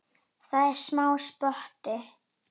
Það er smá spotti.